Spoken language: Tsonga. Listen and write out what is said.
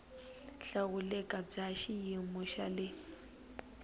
hlawuleka bya xiyimo xa le